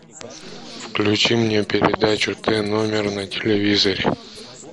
включи мне передачу т номер на телевизоре